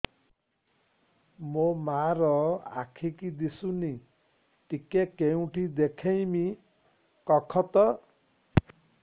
ମୋ ମା ର ଆଖି କି ଦିସୁନି ଟିକେ କେଉଁଠି ଦେଖେଇମି କଖତ